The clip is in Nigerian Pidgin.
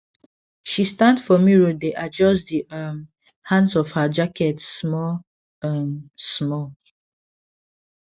she stand for mirrordae adjust the um hands of her jacket small um small